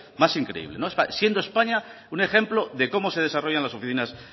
más increíble siendo españa un ejemplo de cómo se desarrollan las oficinas